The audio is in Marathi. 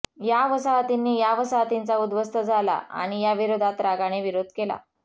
या वसाहतींनी या वसाहतींचा उद्ध्वस्त झाला आणि या विरोधात रागाने विरोध केला